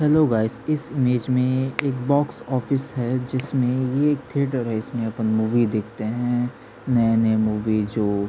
hello guys इस image में एक बॉक्स ऑफिस है जिमे ये एक थिएटर मूवी देखते है जो नए-नए मूवी जो--